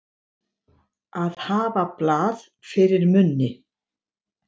Að hafa blað fyrir munni